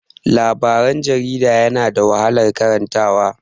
Labaran jarida yana da wahalan karanta wa.